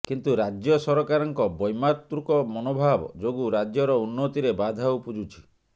କିନ୍ତୁ ରାଜ୍ୟ ସରକାରଙ୍କ ବୈମାତୃକ ମନୋଭାବ ଯୋଗୁଁ ରାଜ୍ୟର ଉନ୍ନତିରେ ବାଧା ଉପୁଜୁଛି